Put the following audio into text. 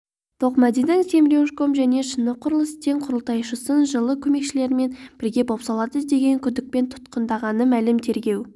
тоқмәдидің семрюжком және шыны құрылыс тең құрылтайшысын жылы көмекшілерімен бірге бопсалады деген күдікпен тұтқындалғаны мәлім тергеу